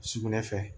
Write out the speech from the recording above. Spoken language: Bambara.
Sugunɛ fɛ